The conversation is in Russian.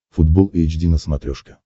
футбол эйч ди на смотрешке